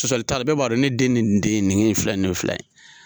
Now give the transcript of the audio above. Sɔsɔli t'ala bɛ b'a don ne den nin den ye nin filɛ nin filɛ.